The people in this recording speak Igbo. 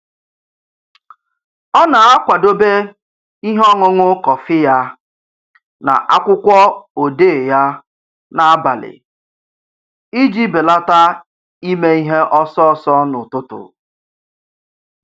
Ọ na-akwadobe ihe ọṅụṅụ kọfị ya na akwụkwọ odee ya n'abalị iji belata ime ihe ọsọọsọ n'ụtụtụ.